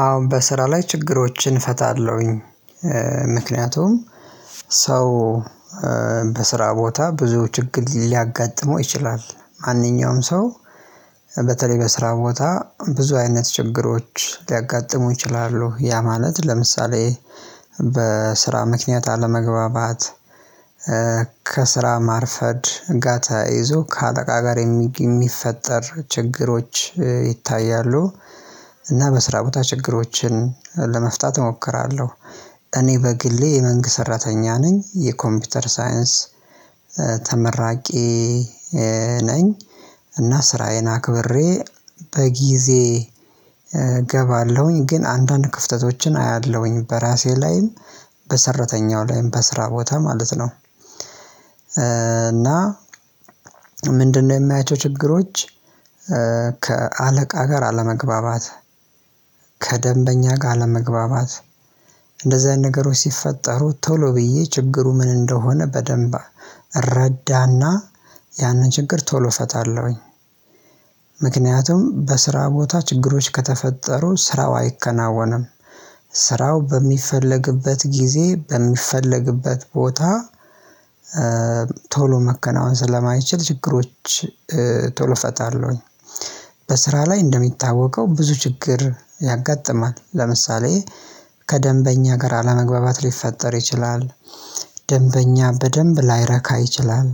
አሁን በስራ ላይ ችግሮችን እፈታለሁኝ። ምክንያቱም ሰው በስራ ቦታ ብዙ ችግር ሊያጋጥመው ይችላል ማንኛውም ሰው በተለይ በስራ ቦታ ብዙ አይነት ችግሮች ሊያጋጥሙ ይችላሉ ያ ማለት ለምሳሌ በስራ ምክንያት አለመግባባት ከስራ ማርፈድ ጋታ ይዞ ከአጠቃ ጋር የሚፈጠር ችግሮች ይታያሉ እና በስራ ቦታ ችግሮችን ለመፍታት እሞክራለሁ። እኔ በግሌ የመንግስት ሰራተኛ ነኝ የኮምፒውተር ሳይንስ ተመራቂ ነኝ። እና ስራዬን አክብሬ በጊዜ እገባለሁኝ ግን አንዳንድ ክፍተቶችን አያለሁኝ በራሴ ላይም በሰራተኛው ላይም በስራ ቦታ ማለት ነው እና። ምንድነው የሚያያቸው ችግሮች? ከ ከአለቃ ጋር አለመግባባት ከደንበኛ ጋር አለመግባባት እንደዚህ አይነት ነገሮች ሲፈጠሩ ቶሎ ብዬ ችግሩ ምን እንደሆነ በደንብ እረዳና ያንን ችግር ቶሎ እፈታለሁኝ። ምክንያቱም በስራ ቦታ ችግሮች ከተፈጠሩ ስራው አይከናወንም። ስራው በሚፈለግበት ጊዜ በሚፈለግበት ቦታ ቶሎ መከናወን ስለማይችል ችግሮች ቶሎ እፈታለሁኝ። በስራ ላይ እንደሚታወቀው ብዙ ችግር ያጋጥማል። ለምሳሌ ከደንበኛ ጋር አለመግባባት ሊፈጠር ይችላል። ደንበኛ በደንብ ላይረካ ይችላል።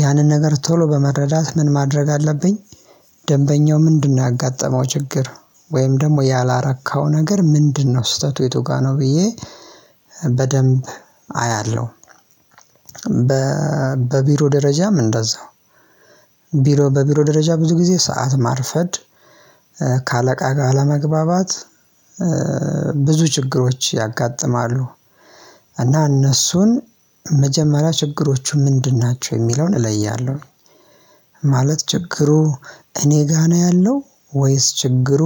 ያንን ነገር ቶሎ በመረዳት ምን ማድረግ አለብኝ? ደንበኛው ምንድነው ያጋጠመው ችግር ወይም ደግሞ ያላረካው ነገር ምንድነው ስህተቱ የቱ ጋር ነው ብዬ በደንብ አያለሁ። በ በቢሮ ደረጃም እንደዛው ቢሮ በቢሮ ደረጃ ብዙ ጊዜ ሰዓት ማርፈድ ከአለቃ ጋር አለመግባባት ብዙ ችግሮች ያጋጥማሉ። እና እነሱን መጀመሪያ ችግሮቹ ምንድን ናቸው የሚለውን እለያለሁ። ማለት ችግሩ እኔ ጋ ነው ያለው ወይስ ችግሩ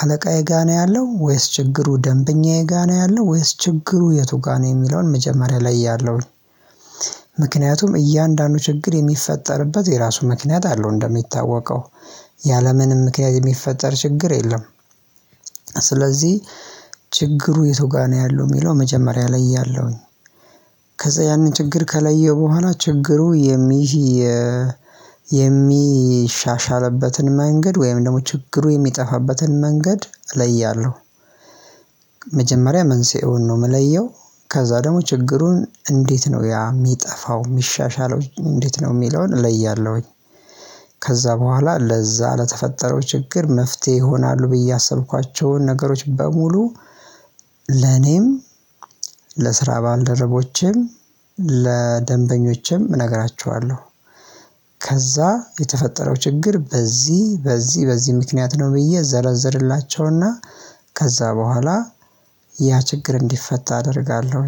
አለቃዬ ጋ ነው ያለው ወይስ ችግሩ ደንብኛዬ ጋ ነው ያለው ወይስ ችግሩ የቱ ጋ ነው የሚለውን መጀመሪያ ላይ ያለውን። ምክንያቱም እያንዳንዱ ችግር የሚፈጠርበት የራሱ ምክንያት አለው እንደሚታወቀው ያለምንም ምክንያት የሚፈጠር ችግር የለም። ስለዚህ ችግሩ የቱጋ ነው ያለው የሚለው መጀመሪያ ላይ ያለውኝ? ከዛ ያንን ችግር ከለየው በኋላ ችግሩ የሚሻሻልበትን መንገድ ወይም ደግሞ ችግሩ የሚጠፋበትን መንገድ እለያለሁ። መጀመሪያ መንስኤውን ነው የምለየው ከዛ ደግሞ ችግሩን እንዴት ነው ያ የሚጠፋው የሚሻሻለው እንዴት ነው የሚለውን እለያለሁኝ። ከዛ በኋላ ለዛ ለተፈጠረው ችግር መፍትሄ ይሆናሉ ብዬ ያሰብኳቸውን ነገሮች በሙሉ ለኔም ለስራ ባልደረቦቼም ለደንበኞቼም እነግራቸዋለሁ። ከዛ የተፈጠረው ችግር በዚህ በዚህ በዚህ ምክንያት ነው ብዬ እዘረዝርላቸውና ከዛ በኋላ ያ ችግር እንዲፈታ አደርጋለሁ።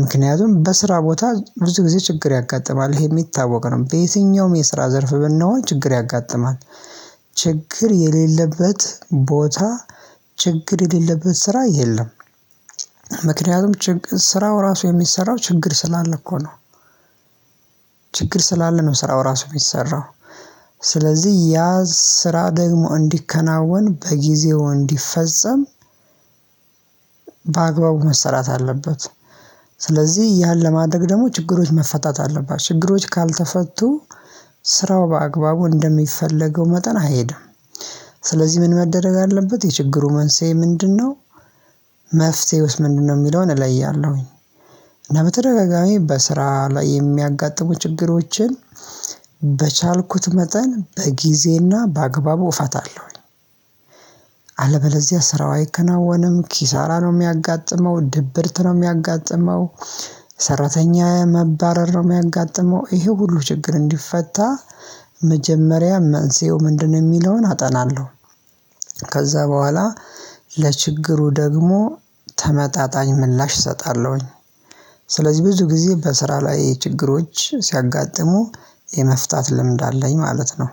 ምክንያቱም በስራ ቦታ ብዙ ጊዜ ችግር ያጋጥማል ይሄ የሚታወቅ ነው በየትኛውም የስራ ዘርፍ ብንሆን ችግር ያጋጥማል። ችግር የሌለበት ቦታ ችግር የሌለበት ስራ የለም። ምክንያቱም ችግር ስራው ራሱ የሚሰራው ችግር ስላለ እኮ ነው። ችግር ስላለ ነው ስራው ራሱ የሚሰራው። ስለዚህ ያ ስራ ደግሞ እንዲከናወን በጊዜው እንዲፈጸም በአግባቡ መሰራት አለበት። ስለዚህ ያን ለማድረግ ደግሞ ችግሮች መፈታት አለባቸው ችግሮች ካልተፈቱ ስራው በአግባቡ እንደሚፈለገው መጠን አይሄድም። ስለዚህ ምን መደረግ አለበት የችግሩ መንስኤ ምንድነው? መፍትሄውስ ምንድነው የሚለውን እለያለሁኝ። እና በተደጋጋሚ በስራ ላይ የሚያጋጥሙ ችግሮችን በቻልኩት መጠን በጊዜና በአግባቡ እፋታለሁኝ። አለበለዚያ ስራው አይከናወንም ኪሳራ ነው የሚያጋጥመው ድብርት ነው የሚያጋጥመው። ሰራተኛ መባረር ነው የሚያጋጥመው ይሄ ሁሉ ችግር እንዲፈታ መጀመሪያ መንስኤው ምንድነው የሚለውን አጠናለሁ። ከዛ በኋላ ለችግሩ ደግሞ ተመጣጣኝ ምላሽ እሰጣለሁኝ። ስለዚህ ብዙ ጊዜ በስራ ላይ ችግሮች ሲያጋጥሙ የመፍታት ልምድ አለኝ ማለት ነው